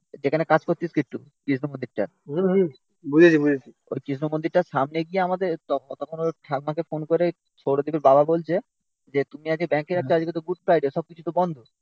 যেখানে কাজ করতিস কিটটুঁ কৃষ্ণ মন্দিরটা ওই কৃষ্ণ মন্দিরটার সামনে গিয়ে আমাদের তখন ওই ঠাম্মাকে ফোন করে সৌরদীপের বাবা বলছে. যে তুমি আজকে ব্যাংকে যাচ্ছে. আজকে তো গুড ফ্রাইডে সবকিছু তো বন্ধ